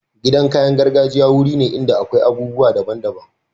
Gidan kayan gargajiya wuri ne inda akwai abubuwa daban daban.